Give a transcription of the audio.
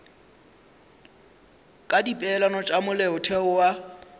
ka dipeelano tša molaotheo wa